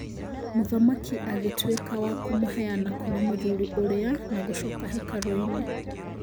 Mũthamaki akĩgĩtwĩka wa kumuheana kũrĩ mũthuri ũrĩa na gũcoka hekarũinĩ.